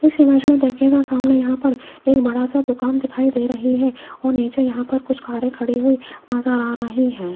इस इमेज में देखिएगा सामने यहां पर एक बड़ा सा दुकान दिखाई दे रही है और नीचे यहां पर कुछ कारे खड़ी हुई नजर आ रहे हैं।